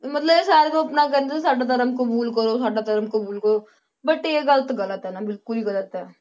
ਮਤਲਬ ਇਹ ਸਾਰਿਆਂ ਨੂੰ ਆਪਣਾ ਕਹਿੰਦੇ ਸੀ ਸਾਡਾ ਧਰਮ ਕਬੂਲ ਕਰੋ ਸਾਡਾ ਧਰਮ ਕਬੂਲ ਕਰੋ but ਇਹ ਗੱਲ ਤਾਂ ਗ਼ਲਤ ਹੈ ਨਾ ਬਿਲਕੁਲ ਹੀ ਗ਼ਲਤ ਹੈ,